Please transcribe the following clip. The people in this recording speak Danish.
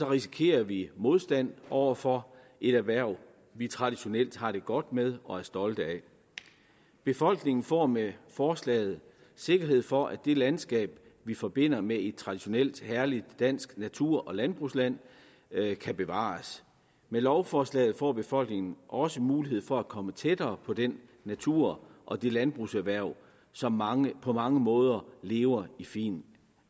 risikerer vi modstand over for et erhverv vi traditionelt har det godt med og er stolte af befolkningen får med forslaget sikkerhed for at det landskab vi forbinder med et traditionelt herligt dansk natur og landbrugsland kan bevares med lovforslaget får befolkningen også mulighed for at komme tættere på den natur og det landbrugserhverv som mange på mange måder lever i fin